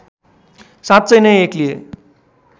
साँच्चै नै एक्लिए